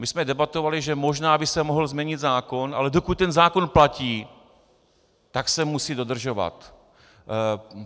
My jsme debatovali, že možná by se mohl změnit zákon, ale dokud ten zákon platí, tak se musí dodržovat.